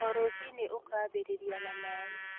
O rũciinĩ ũkambĩrĩria na maaĩ